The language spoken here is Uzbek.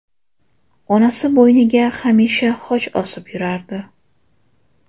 Onasi bo‘yniga hamisha xoch osib yurardi.